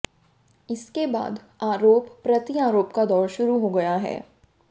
इसके बाद आरोप प्रत्यारोप का दौर शुरू हो गया है